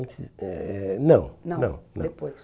Antes eh eh não, não, não. Não, depois.